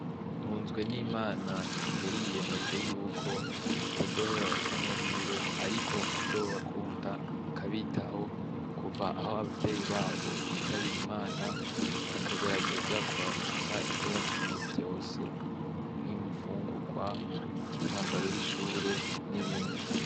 Ntunzwe n'imana yariyiyemeje yuko atazoheba abatamya biwe, ariko azobakunda akabitaho kuva aho abavyeyi babo bitabiye imana akagerageza kubarunsa ivyo bakeneye vyose mpwimi ifungurwa umwambaro w'ishure n'ibindi.